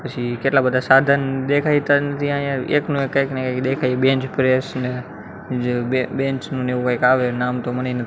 પછી કેટલા બધા સાધન દેખાય કઈક ને કઈ દેખાય બેન્ચપ્રેસ ને જે બે બેન્ચ નુ ને એવુ કઈક આવે એનુ નામ તો મને--